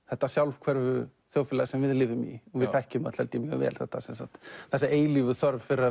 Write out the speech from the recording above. þetta sjálfhverfu þjóðfélag sem við lifum í og þekkjum öll mjög vel þessa eilífu þörf fyrir